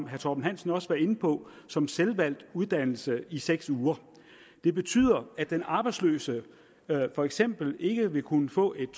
herre torben hansen også var inde på som selvvalgt uddannelse i seks uger det betyder at den arbejdsløse for eksempel ikke vil kunne få et